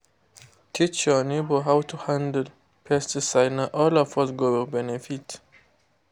teach your neighbour how to handle pesticide—na all of us go benefit.